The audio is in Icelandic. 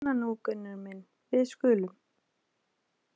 Svona nú, Gunnar minn, við skulum.